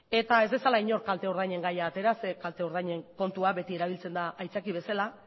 eta ez dezala inork kalte ordainen gaia atera zeren kalte ordainen kontua beti erabiltzen da aitzaki bezala